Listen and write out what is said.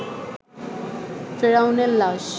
ফেরাউনের লাশ